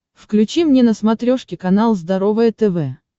включи мне на смотрешке канал здоровое тв